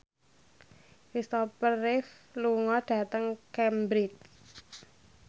Christopher Reeve lunga dhateng Cambridge